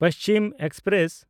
Paschim express